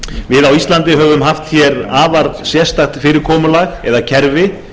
við á íslandi höfum haft hér afar sérstakt fyrirkomulag eða kerfi